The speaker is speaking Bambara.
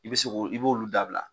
I be se ko i b'olu dabila